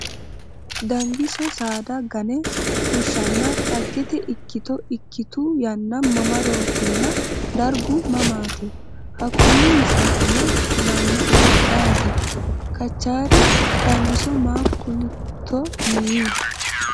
Dangiso saada gane fushshanna Dhaggete ikkito ikkitu yanna mamarootinna dargu mamaati? Hakkunni misilaano kulannoehu ayeeti? Kachaari, “ Dangiso ma ku’litto?” yii.